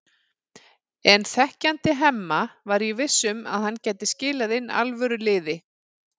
En þekkjandi Hemma var ég viss um að hann gæti skilað inn alvöru liði.